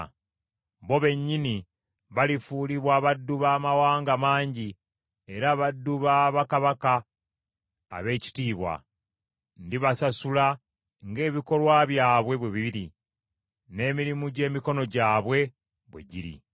Bo bennyini balifuulibwa baddu ba mawanga mangi era baddu ba bakabaka ab’ekitiibwa; ndibasasula ng’ebikolwa byabwe bwe biri n’emirimu gy’emikono gyabwe bwe giri.”